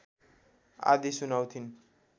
आदि सुनाउँथिन्